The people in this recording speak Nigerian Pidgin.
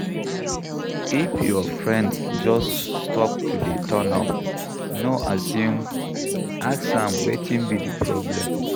If your friend just stop to dey turn up, no assume, ask am wetin be di problem